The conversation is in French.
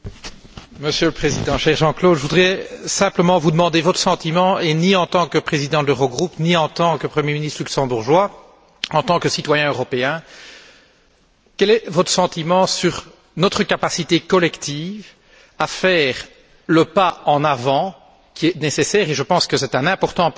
Monsieur le Président, cher Jean Claude Juncker, je voudrais simplement vous demander votre sentiment, non pas en tant que Président de l'Eurogroupe, ni en tant que Premier ministre luxembourgeois, mais en tant que citoyen européen. Quel est votre sentiment sur notre capacité collective à faire le pas en avant qui est nécessaire et je pense qu'il est important en